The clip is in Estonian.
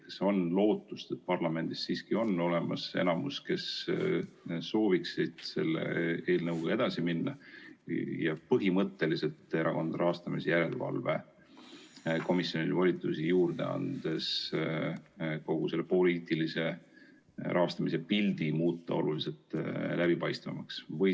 Kas on lootust, et parlamendis siiski on olemas enamus, kes sooviks selle eelnõuga edasi minna ja Erakondade Rahastamise Järelevalve Komisjonile põhimõtteliselt volitusi juurde andes kogu selle poliitilise rahastamise pildi oluliselt läbipaistvamaks muuta?